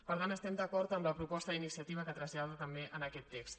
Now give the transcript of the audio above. per tant estem d’acord amb la proposta d’iniciativa que trasllada també en aquest text